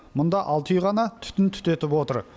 мұнда алты үй ғана түтін түтетіп отыр